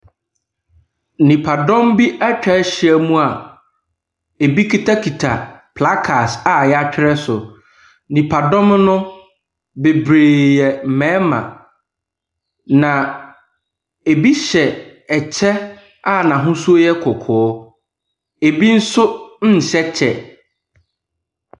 Nnipadɔm bi atwa ahyia mu a ɛbi akitakita placards a wɔatwerɛtwerɛ so. Nnipadɔm no bebree yɛ mmarima. Na ɛbi hyɛ ɛkyɛ a n’ahosuo yɛ kɔkɔɔ. Ɛbi nso nhyɛ kyɛ.